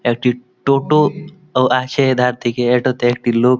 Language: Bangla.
একটি টো-টো ও আছে এধার থেকে এটোতে একটি লোক--